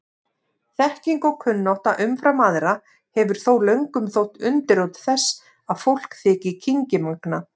Þekking og kunnátta umfram aðra hefur þó löngum þótt undirrót þess að fólk þyki kynngimagnað.